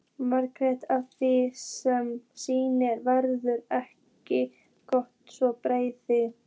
Margt af því sem sýnt verður er ekki svo beysið.